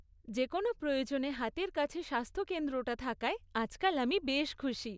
যে কোনও প্রয়োজনে হাতের কাছে স্বাস্থ্যকেন্দ্রটা থাকায় আজকাল আমি বেশ খুশি।